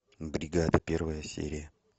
бригада первая серия